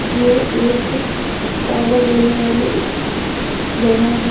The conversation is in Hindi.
ये एक आर्डर देने वाली जगह है।